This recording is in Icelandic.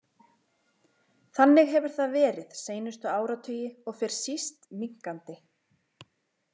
Þannig hefur það verið seinustu áratugi og fer síst minnkandi.